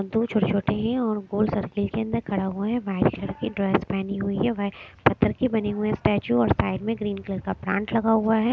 दो छोटे-छोटी और गोल सर्कल के अंदर खड़ा हुआ है वाइट कलर की ड्रेस पहनी हुई है व पत्थर के बने हुए स्टैचू और साइड में ग्रीन कलर का प्लांट लगा हुआ है।